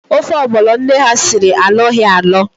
Ofe ọgbọno nne ha siri alọghi alọ